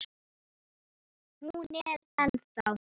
Hún er ennþá.